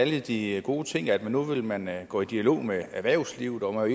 alle de gode ting nemlig at nu ville man gå i dialog med erhvervslivet og